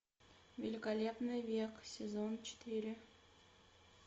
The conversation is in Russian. великолепный век сезон четыре